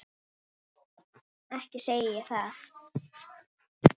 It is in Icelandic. Ekki segi ég það.